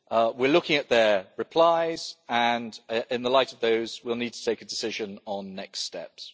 we are looking at their replies and, in the light of those, we will need to take a decision on next steps.